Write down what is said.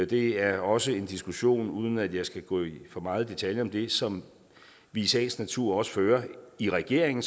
det er også en diskussion uden at jeg skal gå for meget i detaljer med det som vi i sagens natur også fører i regeringen